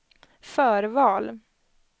förval